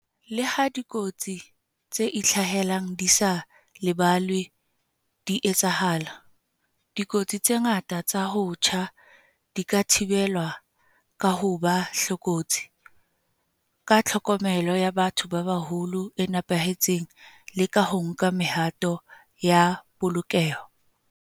Leha dikotsi tse itlhahelang di sa lebellwa di etsahala, dikotsi tse ngata tsa ho tjha di ka thibelwa ka ho ba hlokolosi, ka tlhokomelo ya batho ba baholo e nepahetseng le ka ho nka mehato ya polokeho.